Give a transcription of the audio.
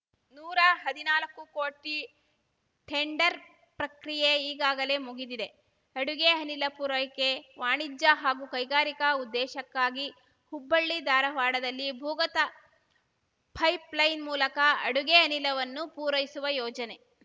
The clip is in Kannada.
ನೂರಾ ಹದಿನಾಲಕ್ಕೂ ಕೋಟಿ ಟೆಂಡರ್‌ ಪ್ರಕ್ರಿಯೆ ಈಗಾಗಲೇ ಮುಗಿದಿದೆ ಅಡುಗೆ ಅನಿಲ ಪೂರೈಕೆ ವಾಣಿಜ್ಯ ಹಾಗೂ ಕೈಗಾರಿಕಾ ಉದ್ದೇಶಕ್ಕಾಗಿ ಹುಬ್ಬಳ್ಳಿ ಧಾರವಾಡದಲ್ಲಿ ಭೂಗತ ಪೈಪ್‌ಲೈನ್‌ ಮೂಲಕ ಅಡುಗೆ ಅನಿಲವನ್ನು ಪೂರೈಸುವ ಯೋಜನೆ